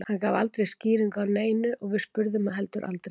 Hann gaf aldrei skýringu á neinu og við spurðum heldur aldrei.